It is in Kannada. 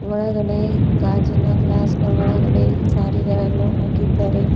ಒಳಗಡೆ ಗಾಜಿನ ಗ್ಲಾಸ್ನ ಒಳಗಡೆ ಸಾರಿಗಳನ್ನು ಹಾಕಿದ್ದಾರೆ.